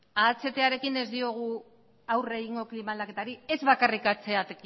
ahtarekin ez diogu aurre egingo klima aldaketari ez bakarrik